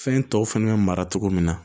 Fɛn tɔw fɛnɛ bɛ mara cogo min na